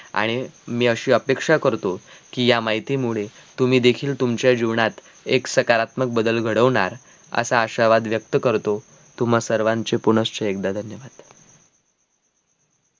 आणि मी अशी अपेक्षा करतो कि या माहिती मुले तुम्ही देखील तुमच्या जीवनात एक सकारात्मक बदल घडवणार असा आशावाद व्यक्त करतो तुम्हा सर्वांचे पुनश्य एगदा धन्यवाद